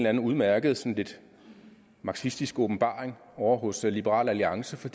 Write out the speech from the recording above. anden udmærket sådan lidt marxistisk åbenbaring ovre hos liberal alliance for